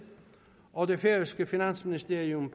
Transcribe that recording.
og det færøske finansministerium